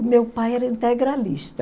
O meu pai era integralista.